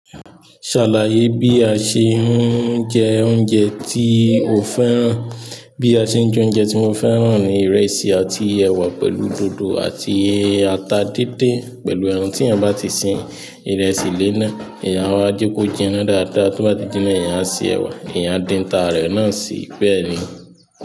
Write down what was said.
Ṣàlàyé bí a ṣe ń jẹ oúnjẹ tí o fẹ́ràn. Bí a ṣe ń jẹ oúnjẹ tí mo fẹ́ràn ni ìrẹsì àti ẹ̀wà pẹ̀lú dòdò àti ata dindinpẹ̀lú ẹran tí èèyàn bá ti sin. Ìrẹsì lé náà, èèyàn áwa jeko jinná dáadáa, tó bá ti jinná, èèyàn á sẹ ẹ̀wà, èèyàn á dín ata rẹ náà sí i pẹ̀lú.